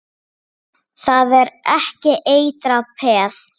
Það er ekki eitrað peð?